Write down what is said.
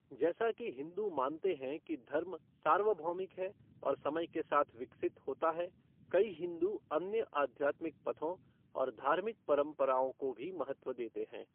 जैसा कि हिंदू मानते हैं कि धर्म सार्वभौमिक है और समय के साथ विकसित होता है, कई हिंदू अन्य आध्यात्मिक पथों और धार्मिक परंपराओं को भी महत्व देते हैं।